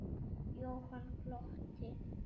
Jóhann glotti.